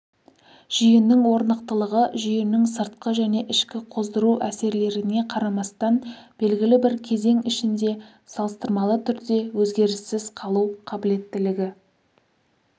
жүйенің орнықтылығы жүйенің сыртқы және ішкі қоздыру әсерлеріне қарамастан белгілі бір кезең ішінде салыстырмалы түрде өзгеріссіз қалу қабілеттілігі